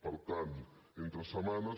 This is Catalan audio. per tant entre setmana